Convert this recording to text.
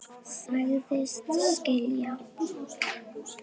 Hún yrði svo leið.